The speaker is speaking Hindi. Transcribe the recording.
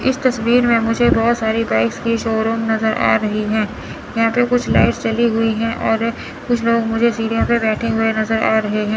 इस तस्वीर में मुझे बहुत सारी बाइक्स के शोरूम नज़र आ रही हैं यहां पे कुछ लाइट्स जली हुई हैं और कुछ लोग मुझे सीढ़ियों पे बैठे नज़र आ रहे हैं।